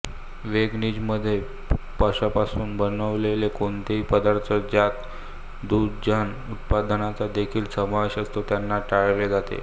वेगनिजममध्ये पशुपासून बनविलेला कोणताही पदार्थ ज्यात दुग्धजन्य उत्पादनांचा देखील समावेश असतो त्यांना टाळले जाते